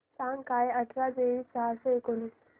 सांग काय अठरा बेरीज सहाशे एकोणीस